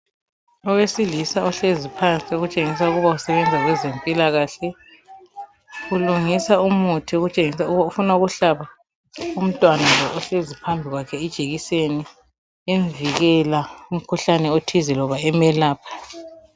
Owesilisa ohlezi phansi okutshengisa ukuba usebenza kwezempilakahle ulungisa umuthi okutshengisa ukuba ufuna ukuhlaba umntwana lo ohlezi phambi kwakhe ijekiseni emvikela kumkhuhlane othize loba emelapha.